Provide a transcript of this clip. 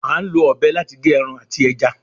À ń lọ ọ̀bẹ láti gé ẹran àti ẹja